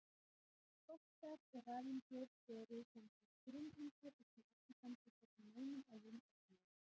Kvarkar og rafeindir eru sem sagt grunneindir og því ekki samsettar úr neinum öðrum ögnum.